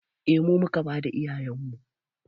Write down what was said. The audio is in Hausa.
Eh mu muka bada iyayenmu